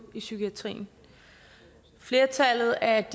i psykiatrien flertallet af